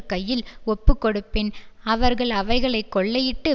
கையில் ஒப்புக்கொடுப்பேன் அவர்கள் அவைகளை கொள்ளையிட்டு